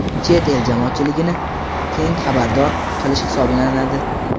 chet el jamoatchiligini keng xabardor qilish hisoblanadi.